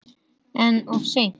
En of seinn.